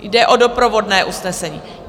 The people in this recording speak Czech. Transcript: Jde o doprovodné usnesení?